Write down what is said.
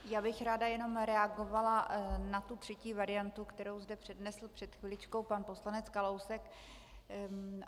Já bych ráda jenom reagovala na tu třetí variantu, kterou zde přednesl před chviličkou pan poslanec Kalousek.